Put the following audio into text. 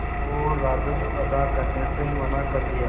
और राजस्व अदा करने से मना कर दिया